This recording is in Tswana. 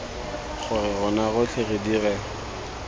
gore rona rotlhe re dire